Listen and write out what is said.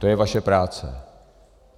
To je vaše práce.